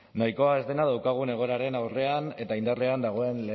nahikoa ez dena daukagun egoeraren aurrean eta indarrean dagoen